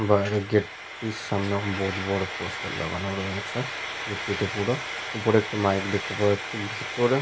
বাইরে গেট টির সামনে বড় বড় পোস্টার লাগানো রয়েছে। গেট টিতে পুরো। উপরে একটি মাইক দেখতে পাওয়া যাচ্ছে। ভিতরে।